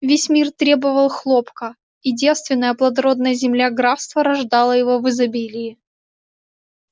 весь мир требовал хлопка и девственная плодородная земля графства рождала его в изобилии